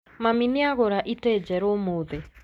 Mami nĩagũra itĩ njerũ ũmũthĩ